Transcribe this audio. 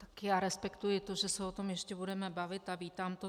Tak já respektuji to, že se o tom ještě budeme bavit, a vítám to.